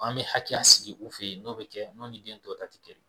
An bɛ hakɛya sigi u fɛ yen n'o bɛ kɛ n'o ni den tɔw ta tɛ kɛ